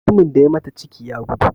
Mutumin da ya mata ciki, ya gudu.